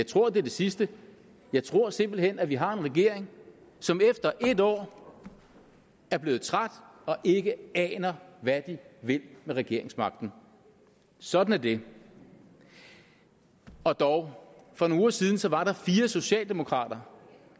tror at det er det sidste jeg tror simpelt hen at vi har en regering som efter et år er blevet træt og ikke aner hvad de vil med regeringsmagten sådan er det og dog for nogle uger siden var der fire socialdemokrater